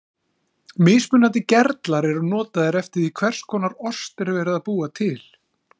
Mismunandi gerlar eru notaðir eftir því hvers konar ost er verið að búa til.